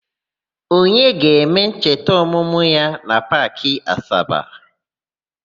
Onyeka ga-eme ncheta ọmụmụ ya na Paakị Asaba.